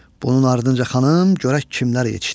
Bunun ardınca xanım görək kimlər yetişdi.